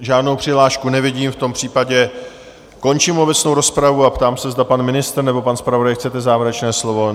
Žádnou přihlášku nevidím, v tom případě končím obecnou rozpravu a ptám se, zda pan ministr nebo pan zpravodaj chcete závěrečné slovo?